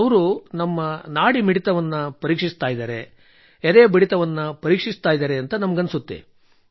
ಅವರು ನಮ್ಮ ನಾಡಿಮಿಡಿತವನ್ನು ಪರೀಕ್ಷಿಸುತ್ತಿದ್ದಾರೆ ಎದೆ ಬಡಿತ ಪರೀಕ್ಷಿಸುತ್ತಿದ್ದಾರೆ ಎಂದು ನನಗೆ ಅನಿಸುತ್ತದೆ